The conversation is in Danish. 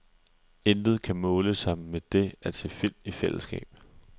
Intet kan måle sig med det at se film i fællesskab.